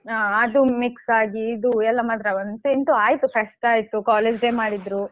ಹಾ ಅದು mix ಅಗಿ ಇದು ಎಲ್ಲಾ ಮಾತ್ರ ಅಂತೂ ಇಂತೂ ಆಯ್ತು fest ಆಯ್ತು college day ಮಾಡಿದ್ರು.